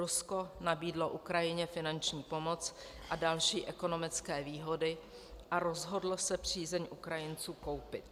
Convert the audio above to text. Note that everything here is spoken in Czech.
Rusko nabídlo Ukrajině finanční pomoc a další ekonomické výhody a rozhodlo se přízeň Ukrajinců koupit.